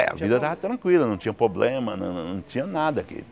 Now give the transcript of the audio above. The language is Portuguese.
É, a vida estava tranquila, não tinha problema, não não tinha nada aqui.